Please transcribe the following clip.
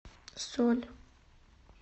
соль